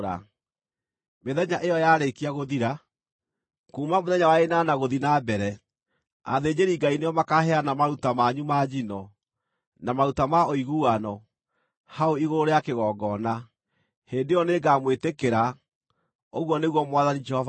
Mĩthenya ĩyo yarĩkia gũthira, kuuma mũthenya wa ĩnana gũthiĩ na mbere, athĩnjĩri-Ngai nĩo makaaheana maruta manyu ma njino, na maruta ma ũiguano, hau igũrũ rĩa kĩgongona. Hĩndĩ ĩyo nĩngamwĩtĩkĩra, ũguo nĩguo Mwathani Jehova ekuuga.”